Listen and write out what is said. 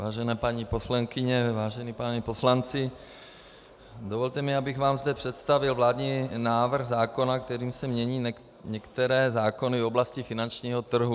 Vážené paní poslankyně, vážení páni poslanci, dovolte mi, abych vám zde představil vládní návrh zákona, kterým se mění některé zákony v oblasti finančního trhu.